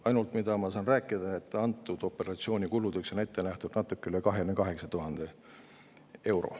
Ainus, mida ma saan öelda, on see, et selle operatsiooni kuludeks on ette nähtud natuke üle 28 000 euro.